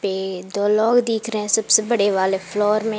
ये दो लोग दिख रहे हैं सबसे बड़े वाले फ्लोर में।